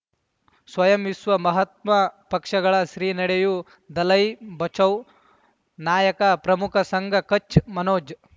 ಸ್ವಯಂ ವಿಶ್ವ ಮಹಾತ್ಮ ಪಕ್ಷಗಳ ಶ್ರೀ ನಡೆಯೂ ದಲೈ ಬಚೌ ನಾಯಕ ಪ್ರಮುಖ ಸಂಘ ಕಚ್ ಮನೋಜ್